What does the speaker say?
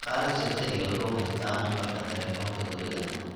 shaqalaha shirkadeyda wuxuu haystaa nambarka telefonka guriga